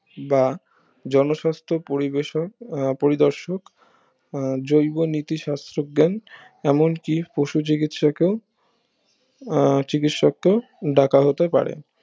বা জন সাস্থ পরিবেশক আহ পরিদর্শক আহ জৈব নীতি শাস্ত্র জ্ঞান এমন কি পশু চিকিত্সাকেও আহ চিকিত্সাকেও ডাকা হতে পারে